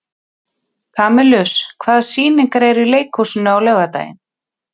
Kamilus, hvaða sýningar eru í leikhúsinu á laugardaginn?